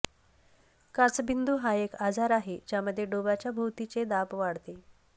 काचबिंदू हा एक आजार आहे ज्यामध्ये डोबाच्या भोवतीचे दाब वाढते